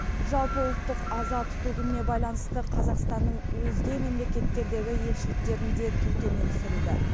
жалпыұлттық аза тұту күніне байланысты қазақстанның өзге мемлекеттердегі елшіліктерінде ту төмен түсірілді